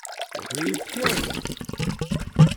Ribekei !